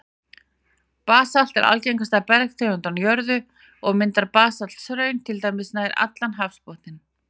Basalt er algengasta bergtegund á jörðu, og mynda basalthraun til dæmis nær allan hafsbotninn.